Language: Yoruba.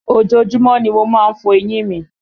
Ojoojúmọ́ ni mo má ń fọ eyín mi